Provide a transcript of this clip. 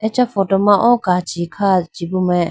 acha photo ma o kachi kha chibu mai.